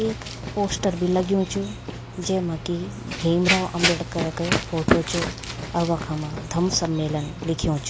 एक पोस्टर भी लग्युं च जेमा कि भीमराव अंबेडकर रक फोटु च और वखमा धम्म सम्मेलन लिख्युं च।